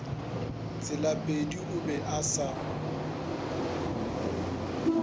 tselapedi o be a se